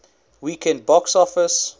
weekend box office